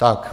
Tak.